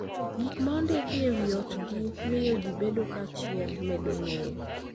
Gik ma ondiki e wi otgi miyo ji bedo kanyachiel; medo ng'eyo